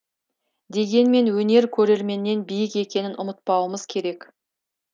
дегенмен өнер көрерменнен биік екенін ұмытпауымыз керек